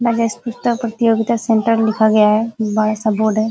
राजेश पुस्तक प्रतियोगिता सेण्टर लिखा गया है बड़ा सा बोर्ड है।